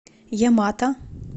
ямато